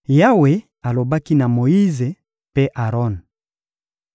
Yawe alobaki na Moyize mpe Aron: